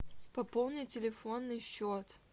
пополни телефонный счет